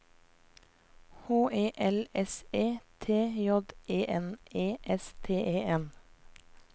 H E L S E T J E N E S T E N